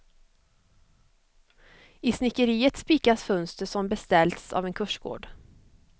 I snickeriet spikas fönster som beställts av en kursgård.